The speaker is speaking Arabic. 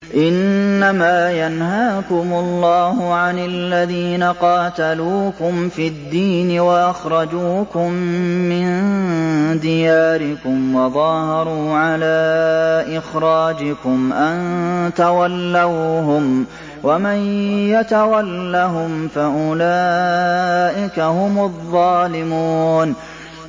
إِنَّمَا يَنْهَاكُمُ اللَّهُ عَنِ الَّذِينَ قَاتَلُوكُمْ فِي الدِّينِ وَأَخْرَجُوكُم مِّن دِيَارِكُمْ وَظَاهَرُوا عَلَىٰ إِخْرَاجِكُمْ أَن تَوَلَّوْهُمْ ۚ وَمَن يَتَوَلَّهُمْ فَأُولَٰئِكَ هُمُ الظَّالِمُونَ